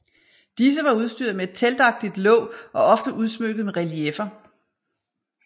Disse var udstyret med et teltagtigt låg og ofte udsmykket med relieffer